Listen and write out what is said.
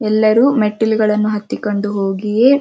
ಎಲ್ಲರೂ ಮೆಟ್ಟಲುಗಳನ್ನು ಹತ್ತಿ ಕೊಂಡು ಹೋಗಿ ಇ --